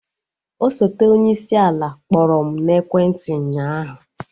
Osote onyeisi ala kpọrọ m n'ekwenti ụnyaahụ